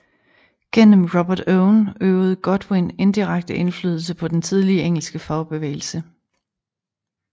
Gennem Robert Owen øvede Godwin indirekte indflydelse på den tidlige engelske fagbevægelse